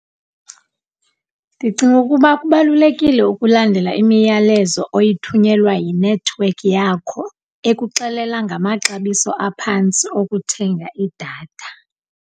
Ndicinga ukuba kubalulekile ukulandela imiyalezo oyithunyelwa yinethiwekhi yakho ekuxelela ngamaxabiso aphantsi okuthenga idatha.